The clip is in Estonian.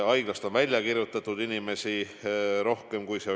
Haiglast on välja kirjutatud rohkem inimesi.